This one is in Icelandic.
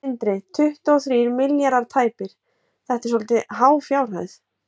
Sindri: Tuttugu og þrír milljarðar tæpir, þetta er svolítið há fjárhæð?